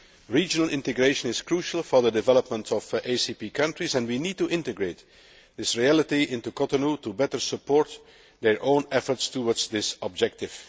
Regional integration is crucial for the development of ACP countries and we need to integrate this reality into Cotonou to better support their own efforts towards this objective.